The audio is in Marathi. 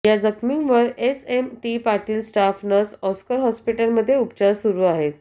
या जखमींवर S M T Patil staff nurse Oscar हॉस्पिटलमध्ये उपचार सुरु आहेत